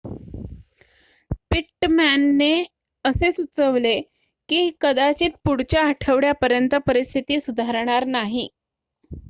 पिट्टमॅनने असे सुचवले की कदाचित पुढच्या आठवड्यापर्यंत परिस्थिती सुधारणार नाही